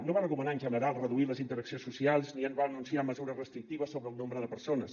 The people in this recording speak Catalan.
no va recomanar en general reduir les interaccions socials ni va anunciar mesures restrictives sobre el nombre de persones